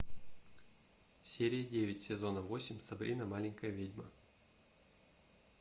серия девять сезона восемь сабрина маленькая ведьма